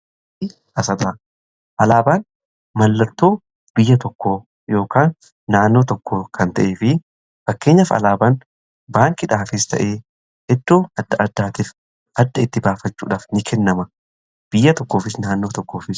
alaabaan mallattoo biyya tokkoo yookaan naannoo tokko kan ta'e fi fakkeenyaaf alaabaan baankidhaafis ta'ee eddoo adda addaatiif adda itti baafachuudhaaf ni kennama biyya tokkoofis naannoo tokkoofis